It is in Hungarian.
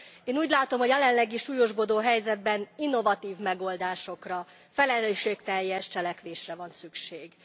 Én úgy látom a jelenlegi súlyosbodó helyzetben innovatív megoldásokra, felelősségteljes cselekvésre van szükség.